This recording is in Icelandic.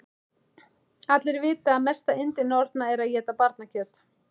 Allir vita að mesta yndi norna er að éta barnakjöt.